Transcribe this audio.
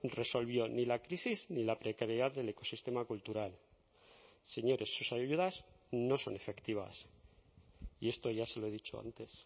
resolvió ni la crisis ni la precariedad del ecosistema cultural señores sus ayudas no son efectivas y esto ya se lo he dicho antes